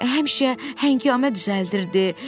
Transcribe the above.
Həmişə həngamə düzəldirdi.